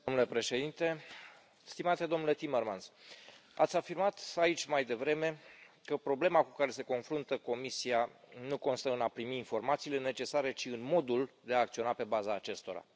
Domnule președinte, stimate domnule Timmermans, ați afirmat aici mai devreme că problema cu care se confruntă Comisia nu constă în a primi informațiile necesare, ci în modul de a acționa pe baza acestora.